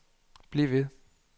bliv ved